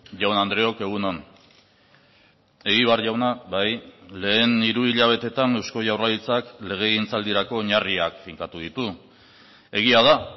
jaun andreok egun on egibar jauna bai lehen hiruhilabeteetan eusko jaurlaritzak legegintzaldirako oinarriak finkatu ditu egia da